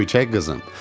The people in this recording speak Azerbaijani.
Göyçək qızım!